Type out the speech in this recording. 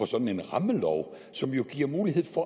sådan en rammelov som jo giver mulighed for